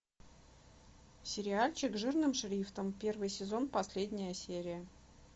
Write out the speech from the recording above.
сериальчик жирным шрифтом первый сезон последняя серия